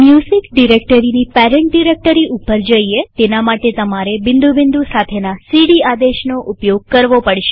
music ડિરેક્ટરીની parent directory ઉપર જઈએતેના માટે તમારે બિંદુ બિંદુ સાથેના સીડી આદેશનો ઉપયોગ કરવો પડશે